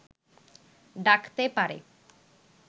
ডাকতে পারে